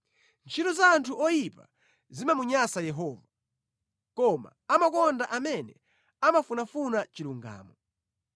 Ntchito za anthu oyipa zimamunyansa Yehova koma amakonda amene amafunafuna chilungamo.